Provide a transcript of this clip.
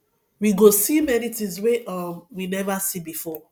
we go see many things wey um we never see before